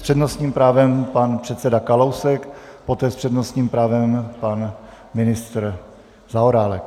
S přednostním právem pan předseda Kalousek, poté s přednostním právem pan ministr Zaorálek.